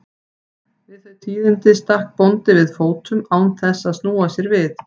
Við þau tíðindi stakk bóndi við fótum án þess að snúa sér við.